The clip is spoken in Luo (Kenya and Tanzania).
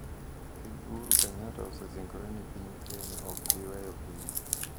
Ker Uhuru Kenyatta osesingore ni piny Kenya ok bi weyo piny